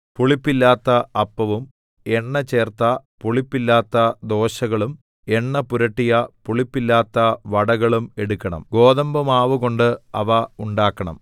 പുളിപ്പില്ലാത്ത അപ്പവും എണ്ണചേർത്ത പുളിപ്പില്ലാത്ത ദോശകളും എണ്ണപുരട്ടിയ പുളിപ്പില്ലാത്ത വടകളും എടുക്കണം ഗോതമ്പുമാവുകൊണ്ട് അവ ഉണ്ടാക്കണം